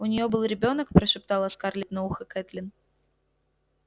у нее был ребёнок прошептала скарлетт на ухо кэтлин